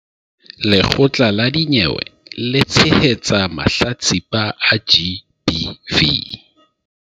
Lekgotla la dinyewe le tshehetsa mahlatsipa a GBV